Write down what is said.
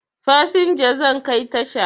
Fasinja zan kai tasha